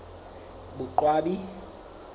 boqwabi